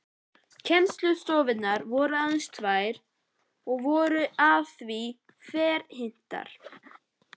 Kennslustofurnar voru aðeins tvær og voru allt að því ferhyrndar.